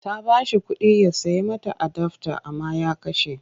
Ta ba shi kuɗi ya sai mata adafta amma ya kashe.